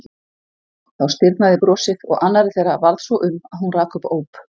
Þá stirðnaði brosið og annarri þeirra varð svo um að hún rak upp óp.